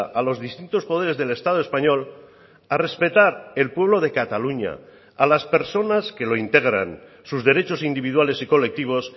a los distintos poderes del estado español a respetar el pueblo de cataluña a las personas que lo integran sus derechos individuales y colectivos